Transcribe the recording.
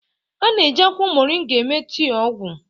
A na-eji akwụkwọ Moringa eme tii ọgwụ.